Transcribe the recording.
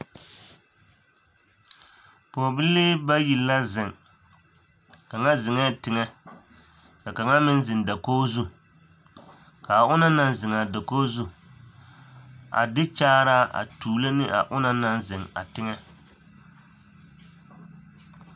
Pɔɔbibilii bayi la zeŋ kaŋa zeŋɛɛ teŋɛ ka kaŋa meŋ zeŋ dakog zu kaa onoŋ naŋ zeŋaa dakog zu a de kyaaraa a tuulo ne a onaŋ naŋ zeŋ a teŋɛ.